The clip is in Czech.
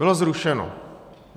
Bylo zrušeno.